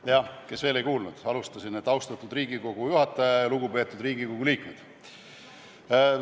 Jah, kes veel ei kuulnud, alustasin nii: austatud Riigikogu juhataja ja lugupeetud Riigikogu liikmed!